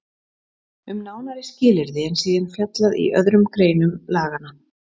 Um nánari skilyrði er síðan fjallað í öðrum greinum laganna.